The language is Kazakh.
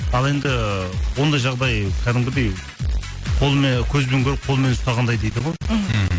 ал енді ондай жағдай кәдімгідей көзбен көріп қолмен ұстағандай дейді ғой мхм